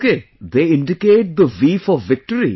Okay, they indicate the V for victory